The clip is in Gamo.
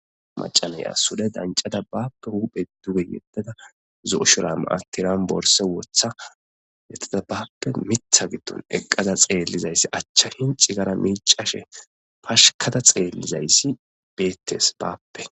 Maca Naya sure fancada bape jupheza fudge yedada zo'o shubare Tiran borsa wotha bapeitha hidon eqafa xelizaysi acha tinci histafa micashe pashkada xelizaysi beetes